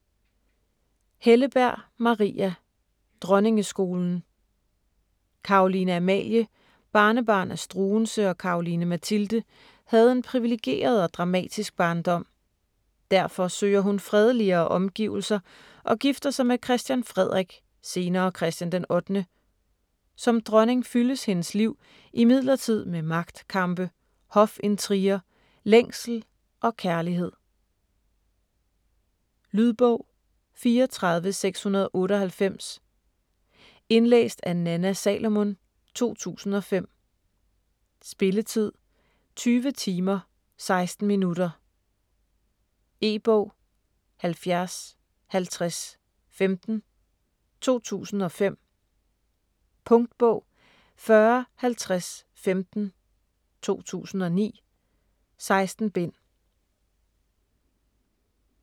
Helleberg, Maria: Dronningeskolen Caroline Amalie, barnebarn af Struensee og Caroline Mathilde, havde en priviligeret og dramatisk barndom. Derfor søger hun fredeligere omgivelser og gifter sig med Christian Frederik (senere Christian d. 8.). Som dronning fyldes hendes liv imidlertid med magtkampe, hofintriger, længsel og kærlighed. Lydbog 34698 Indlæst af Nanna Salomon, 2005. Spilletid: 20 timer, 16 minutter. E-bog 705015 2005. Punktbog 405015 2009. 16 bind.